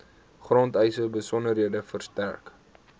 grondeise besonderhede verstrek